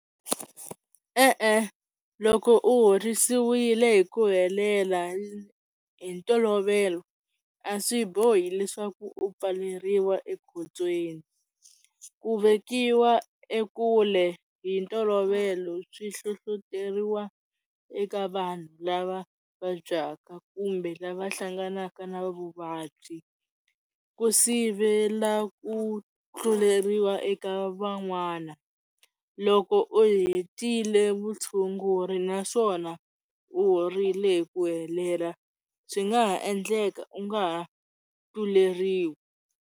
E-e, loko u horisiwile hi ku helela hi ntolovelo a swi bohi leswaku u pfaleriwa ekhotsweni ku vekiwa ekule hi ntolovelo swi hluhluteriwa eka vanhu lava vabyaka kumbe lava hlanganaka na vuvabyi ku sivela ku tluleriwa eka van'wana loko u hetile vutshunguri naswona u horile hi ku helela swi nga ha endleka u nga ha tluleriwi.